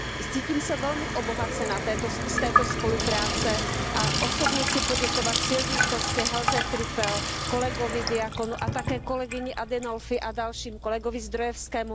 Cítím se velmi obohacena z této spolupráce a osobně chci poděkovat Silvii Costové, Helze Trüpelové, kolegovi Diaconu a také kolegyni Adinolfiové a dalším, kolegovi Zdrojewskému.